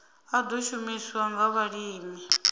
a ḓo shumiswa nga vhalimi